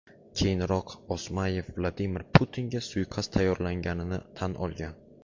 Keyinroq Osmayev Vladimir Putinga suiqasd tayyorlaganini tan olgan.